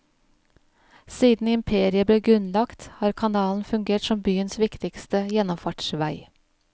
Siden imperiet ble grunnlagt, har kanalen fungert som byens viktigste gjennomfartsvei.